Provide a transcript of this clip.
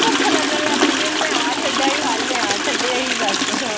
ਭੁੱਖ ਲੱਗਣ ਲੱਗ ਜਾਂਦੀ ਹੈ ਮੈਂ ਆਹ ਛੱਡਾਆਈ ਹਾਏ ਮੈਂ ਆਹ ਛੱਡੇਆਈ ਦੱਸ